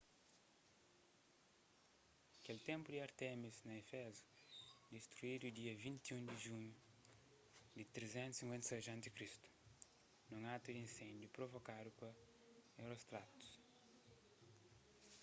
kel ténplu di ártemis na éfezu distruidu dia 21 di julhu di 356 a.c. nun atu di insendiu provokadu pa herostratus